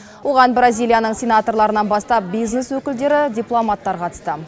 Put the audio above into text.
оған бразилияның сенаторларынан бастап бизнес өкілдері дипломаттар қатысты